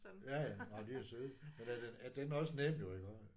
Ja ja nej men de er søde. Men er den er den også nem jo iggå?